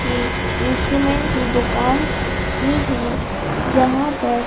की इंस्ट्रूमेंट की दुकान ही है जहां पर--